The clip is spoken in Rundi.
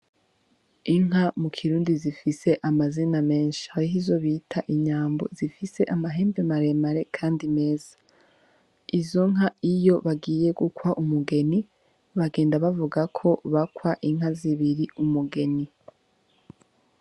Inka mu kirundi zifise amazina menshi ahaho izo bita inyambo zifise amahembe maremare, kandi meza izo nka iyo bagiye gukwa umugeni bagenda bavuga ko bakwa inka zibiri umugeni.